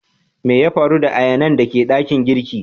Mai ya faru da ayanan da ke dakin girki?